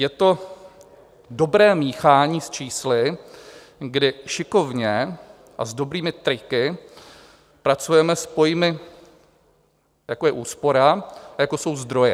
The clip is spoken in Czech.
Je to dobré míchání s čísly, kdy šikovně a s dobrými triky pracujeme s pojmy, jako je úspora a jako jsou zdroje.